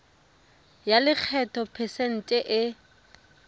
ya lekgetho phesente e